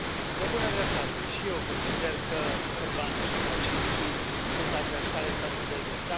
Pe bună dreptate și eu consider că Orban și Kaczyński sunt adversari ai statului de drept.